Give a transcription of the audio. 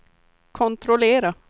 kontrollera